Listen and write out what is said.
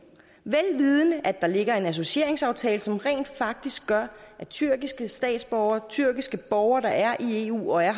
vel vidende at der ligger en associeringsaftale som rent faktisk gør at tyrkiske statsborgere tyrkiske borgere der er i eu og er